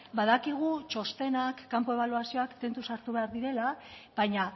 badakigu txostenak kanpo ebaluazioak tentuz hartu behar direla baina